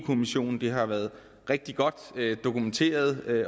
kommissionen det har været rigtig godt dokumenteret